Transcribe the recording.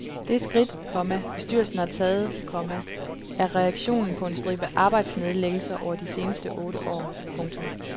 Det skridt, komma bestyrelsen har taget, komma er reaktionen på en stribe arbejdsnedlæggelser over de seneste otte år. punktum